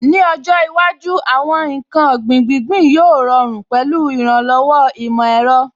Ní ọjọ́ iwájú, àwọn ǹkan ọ̀gbìn gbíngbín yóò rọrùn pẹ̀lú ìrànlọ́wọ́ ìmọ̀ ẹ̀rọ.